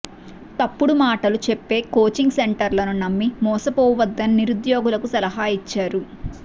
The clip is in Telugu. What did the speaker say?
తప్పుడు మాటలు చెప్పే కోచింగ్ సెంటర్లను నమ్మి మోసపోవద్దని నిరుద్యోగులకు సలహా ఇచ్చారు